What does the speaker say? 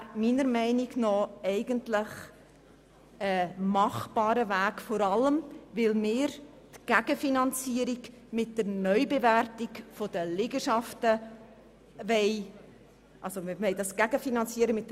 Das wäre meiner Meinung nach ein gangbarer Weg, vor allem, weil wir das Ganze mit der Neubewertung der Liegenschaften gegenfinanzieren wollen.